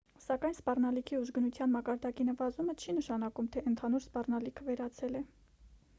սակայն սպառնալիքի ուժգնության մակարդակի նվազեցումը չի նշանակում թե ընդհանուր սպառնալիքը վերացել է